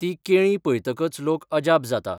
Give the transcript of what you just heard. तीं केळीं पयतकच लोक अजाप जाता.